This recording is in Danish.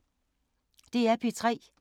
DR P3